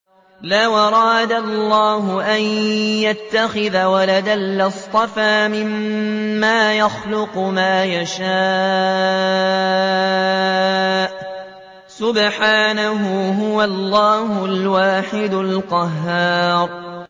لَّوْ أَرَادَ اللَّهُ أَن يَتَّخِذَ وَلَدًا لَّاصْطَفَىٰ مِمَّا يَخْلُقُ مَا يَشَاءُ ۚ سُبْحَانَهُ ۖ هُوَ اللَّهُ الْوَاحِدُ الْقَهَّارُ